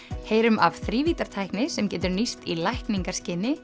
heyrum af þrívíddartækni sem getur nýst í